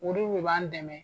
Olu de b'an dɛmɛ